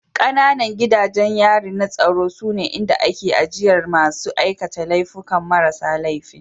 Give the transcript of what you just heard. Ƙananan gidajen yari na tsaro sune inda ake ajiye masu aikata laifuka marasa laifi